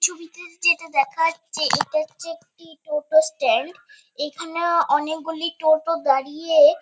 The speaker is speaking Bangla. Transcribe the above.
ছবিতে যেটা দেখা যাচ্ছে এটা হচ্ছে একটি টোটো স্ট্যান্ড এখানেও অনেকগুলি টোটো দাঁড়িয়ে।